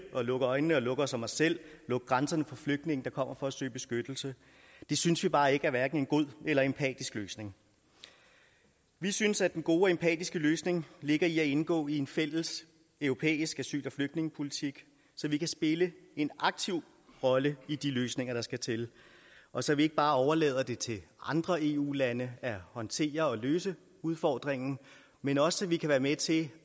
at lukke øjnene og lukke os om os selv lukke grænserne for flygtninge der kommer for at søge beskyttelse det synes vi bare ikke er hverken en god eller empatisk løsning vi synes at den gode og empatiske løsning ligger i at indgå i en fælles europæisk asyl og flygtningepolitik så vi kan spille en aktiv rolle i de løsninger der skal til og så vi ikke bare overlader det til andre eu lande at håndtere og løse udfordringen men også så vi kan være med til